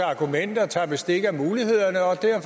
regeringen